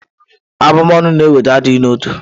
Abumonu na-eweta adịghị n'otu.